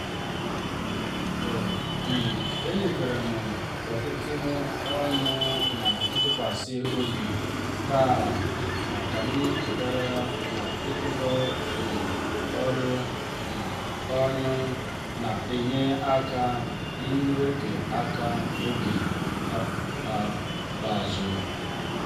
e um nyeferem ọtụtụ ọrụ na ntụkwasị obi taa ọ kam chetara na iruko um ọrụ um ọnụ na-enye aka n'oge aka n'oge ikpeazụ.